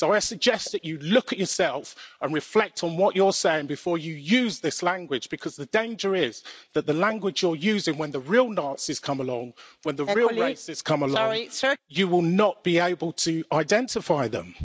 So I suggest that you look at yourself and reflect on what you're saying before you use this language, because the danger is that the language you are using when the real Nazis come along, when the real racists come along, you will not be able to identify them.